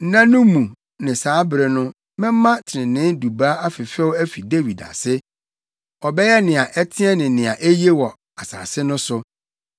“ ‘Nna no mu ne saa bere no mɛma trenee Dubaa afefɛw afi Dawid ase; ɔbɛyɛ nea ɛteɛ ne nea eye wɔ asase no so.